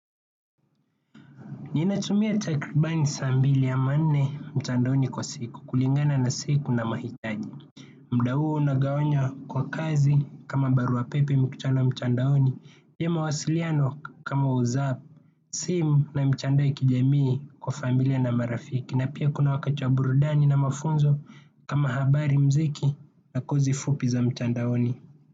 Ninatumia takribani saa mbili ama nne mtandaoni kwa siku kulingana na siku na mahitaji. Muda huo unagawanya kwa kazi kama barua pepe mikutano mtandaoni. Ya mawasiliano kama whatsapp, simu na mtandao ya kijamii kwa familia na marafiki. Na pia kuna wakati wa burudani na mafunzo kama habari muziki na kozi fupi za mtandaoni.